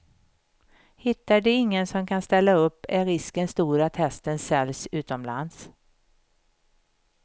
Hittar de ingen som kan ställa upp, är risken stor att hästen säljs utomlands.